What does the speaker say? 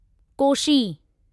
Koshi